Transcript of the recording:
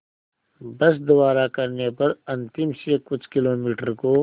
बस द्वारा करने पर अंतिम से कुछ किलोमीटर को